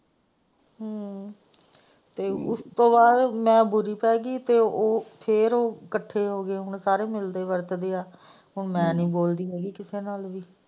ਤੇ ਉਸ ਤੋਂ ਬਾਅਦ ਮੈਂ ਬੁਰੀ ਪੈ ਗਈ ਤੇ ਉਹ ਫੇਰ ਸਾਰੇ ਇਕੱਠੇ ਹੋ ਗਏ ਸਾਰੇ ਹੁਣ ਮਿਲਦੇ ਵਰਤਾਦੇ ਹੈ ਹੁਣ ਮੈਂ ਨਹੀਂ ਬੋਲਦੀ ਹੈਗੀ ਕਿਸੇ ਨਾਲ।